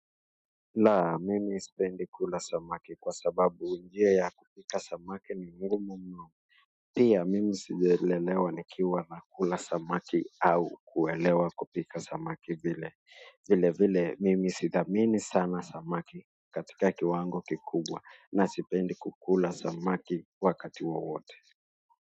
La, mimi sipendi kula samaki kwa sababu harufu ya samaki ni nzito mno. Pia, mimi sijalelewa nikiwa nakula samaki au kuelewa kupika samaki vile. Vilevile, mimi sitamani sana samaki katika kiwango kikubwa na sipendi kukula samaki wakati wowote.